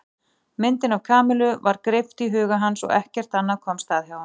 Myndin af Kamillu var greipt í huga hans og ekkert annað komst að hjá honum.